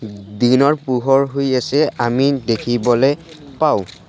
দিনৰ পোহৰ হৈ আছে আমি দেখিবলৈ পাওঁ।